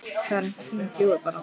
Það er eins og tíminn fljúgi bara!